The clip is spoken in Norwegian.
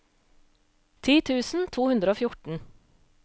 ti tusen to hundre og fjorten